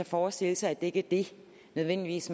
forestille sig at det ikke nødvendigvis